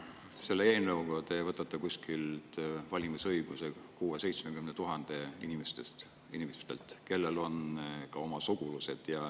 Selle eelnõuga te võtate valimisõiguse 60 000 – 70 000 inimeselt, kellel on ka oma sugulased.